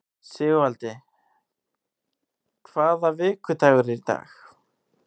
Sigurvaldi, hvaða vikudagur er í dag?